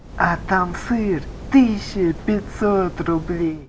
а там сыр тысяча пятьсот рублей